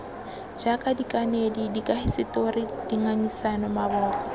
jaaka dikanedi dikahisetori dingangisano maboko